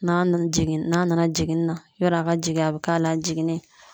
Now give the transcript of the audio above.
N'a nana jigin, n'a nana jiginni na yarɔ a ka jigin a bɛ k'a la jiginni ye